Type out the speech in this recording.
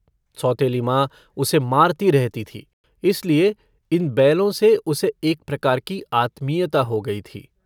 सौतेली माँ उसे मारती रहती थी, इसलिए इन बैलों से उसे एक प्रकार की आत्मीयता हो गई थी।